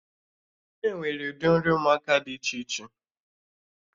Enwere ụdị nri ụmụaka dị iche iche